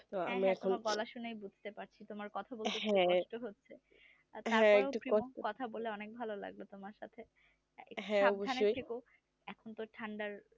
হ্যাঁ হ্যাঁ তোমার গলা শুনেই বুঝতে পারছি তোমার কথা বলতে কষ্ট হচ্ছে কথা বলে অনেক ভালো লাগলো তোমার সাথে সাবধানে থেকো এখন তো ঠান্ডার